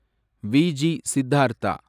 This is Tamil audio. வி.ஜி. சித்தார்த்தா